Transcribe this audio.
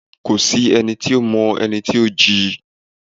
ko sí ení to mọ ení tí o jí